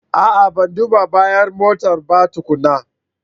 A'a! Ban duba bayan motan ba tukuna.